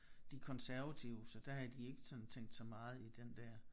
De konservative så der havde de ikke sådan tænkt så meget i den der